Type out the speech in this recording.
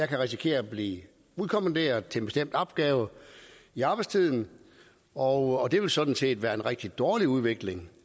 kan risikere at blive udkommanderet til en bestemt opgave i arbejdstiden og det vil sådan set være en rigtig dårlig udvikling